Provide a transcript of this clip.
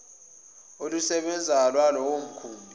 olusebenzayo lwalowo mkhumbi